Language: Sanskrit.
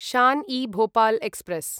शान् इ भोपाल् एक्स्प्रेस्